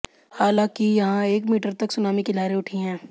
हालांकि यहां एक मीटर तक सुनामी की लहरें उठी हैं